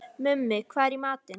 Mummi, hvað er í matinn?